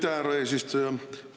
Aitäh, härra eesistuja!